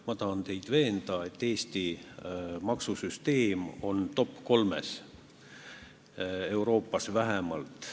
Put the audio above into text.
Ma tahan teid veenda, et Eesti maksusüsteem on top-3 hulgas, Euroopas vähemalt.